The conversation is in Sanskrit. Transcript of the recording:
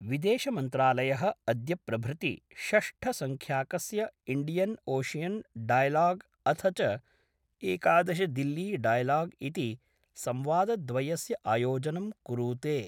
विदेशमन्त्रालयः अद्य प्रभृति षष्ठसंख्याकस्य इण्डियन् ओशियन् डायलॉग अथ च एकादश दिल्ली डायलॉग इति संवाद्वयस्य आयोजनं कुरूते।